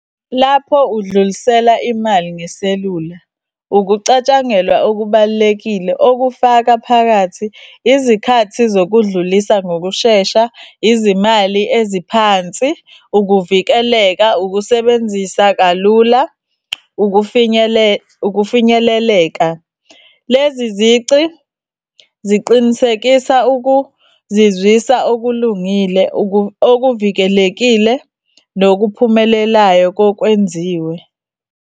Lapho udlulisela imali ngeselula, ukucatshangelwa okubalulekile okufaka phakathi, izikhathi zokudlulisa ngokushesha, izimali eziphansi, ukuvikeleka, ukusebenzisa kalula, ukufinyeleleka. Lezi zici ziqinisekisa ukuzizwisa okulungile okuvikelekile nokuphumelelayo kokwenziwe.